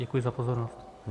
Děkuji za pozornost.